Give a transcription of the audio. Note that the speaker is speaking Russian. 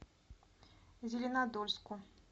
зеленодольску